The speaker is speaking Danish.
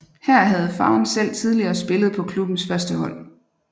Her havde faren selv tidligere spillet på klubbens førstehold